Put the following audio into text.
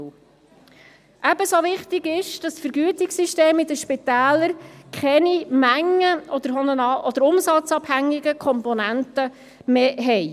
Ebenso wichtig ist, dass die Vergütungssysteme in den Spitälern keine mengen- oder umsatzabhängigen Komponenten mehr enthalten.